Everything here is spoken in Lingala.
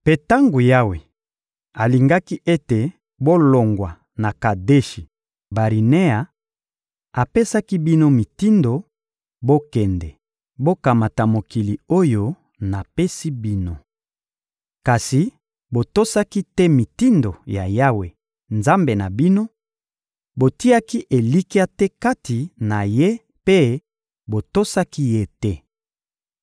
Mpe tango Yawe alingaki ete bolongwa na Kadeshi-Barinea, apesaki bino mitindo: «Bokende! Bokamata mokili oyo napesi bino.» Kasi botosaki te mitindo ya Yawe, Nzambe na bino; botiaki elikya te kati na Ye mpe botosaki Ye te.